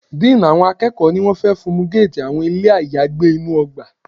Dean àwọn akẹ́kọ̀ọ́ ní wọ́n fẹ́ funmigate àwọn ilé ayagbé inú ọgbà.